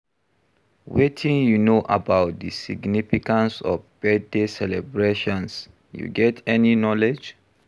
Wetin you know about di significance of birthday celebrations, you get any knowledge?